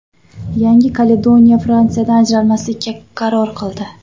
Yangi Kaledoniya Fransiyadan ajralmaslikka qaror qildi.